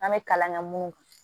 An bɛ kalan kɛ mun kan